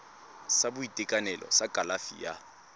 sa boitekanelo sa kalafi ya